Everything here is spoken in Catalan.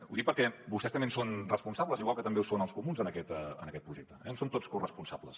ho dic perquè vostès també en són responsables igual que també en són els comuns en aquest projecte en som tots corresponsables